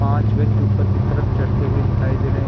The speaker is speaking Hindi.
पांच व्यक्ति ऊपर की तरफ चढ़ते हुए दिखाई दे रहे हैं।